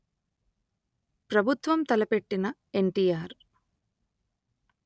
ప్రభుత్వం తలపెట్టిన ఎన్టిఆర్